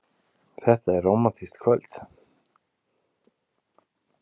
Þetta er rómantískt kvöld.